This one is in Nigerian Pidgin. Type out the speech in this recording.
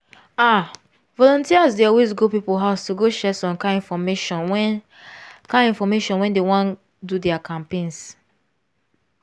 ah! volunteers dey always go people house to go share some kind infomation when kind infomation when dey wan do their campaigns.